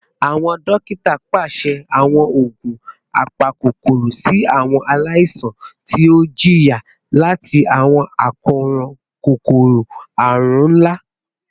Awọn dokita paṣẹ awọn oogun apakokoro si awọn alaisan ti o jiya lati awọn akoran kokoro-arun nla